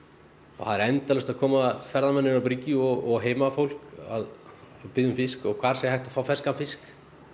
það eru endalaust að koma ferðamenn niður á bryggju og heimafólk að biðja um fisk hvar sé hægt að fá ferskan fisk